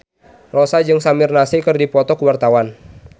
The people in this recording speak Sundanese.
Rossa jeung Samir Nasri keur dipoto ku wartawan